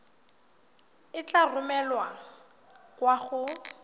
e tla romelwa kwa go